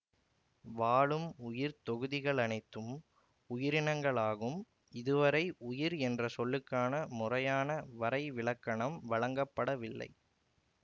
வாழும் உயிர் தொகுதிகளனைத்தும் உயிரினங்களாகும் இதுவரை உயிர் என்ற சொல்லுக்கான முறையான வரைவிலக்கணம் வழங்கப்படவில்லை